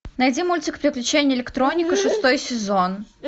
найди мультик приключения электроника шестой сезон